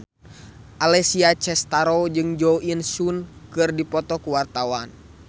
Alessia Cestaro jeung Jo In Sung keur dipoto ku wartawan